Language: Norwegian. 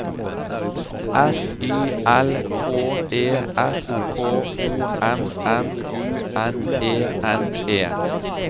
F Y L K E S K O M M U N E N E